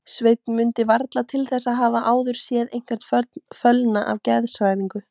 Sveinn mundi varla til þess að hafa áður séð einhvern fölna af geðshræringu.